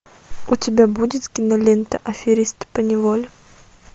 у тебя будет кинолента аферист по неволе